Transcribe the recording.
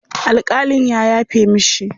Alƙalin ya yafe mishi.